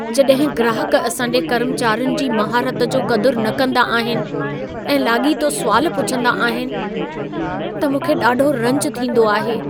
जॾहिं ग्राहक असां जे कर्मचारियुनि जी महारत जो क़दुर न कंदा आहिनि ऐं लाॻीतो सुवाल पुछंदा आहिनि, त मूंखे ॾाढो रंज थींदो आहे।